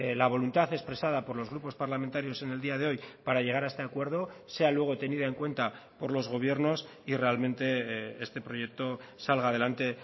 la voluntad expresada por los grupos parlamentarios en el día de hoy para llegar a este acuerdo sea luego tenida en cuenta por los gobiernos y realmente este proyecto salga adelante